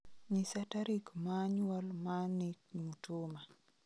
nyisa tarik ma nyuol ma nick mutuma